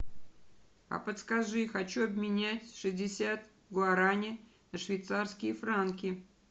а подскажи хочу обменять шестьдесят гуарани на швейцарские франки